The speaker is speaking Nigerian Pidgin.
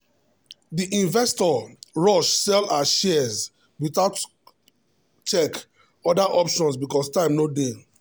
the investor rush sell her shares without check other options because time no dey.